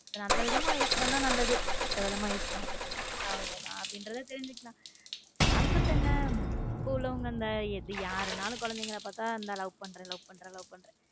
நல்ல விதமா use பண்ணா நல்லது கெட்ட விதமாக use பண்ணா கெட்டது அவ்ளோதான் அப்படிங்கறது தெரிஞ்சுக்கலாம் concept என்ன இப்ப உள்ளவங்க எது யாராலும் குழந்தைகளை பார்த்தா லவ் பண்ற லவ் பண்ற லவ் பண்றேன்.